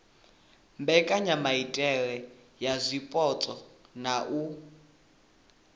mbekanyamaitele ya zwipotso na u